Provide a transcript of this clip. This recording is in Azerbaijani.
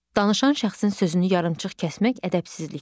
Danışan şəxsin sözünü yarımçıq kəsmək ədəbsizlikdir.